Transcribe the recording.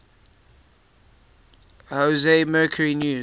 jose mercury news